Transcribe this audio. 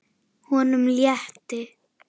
Honum létti.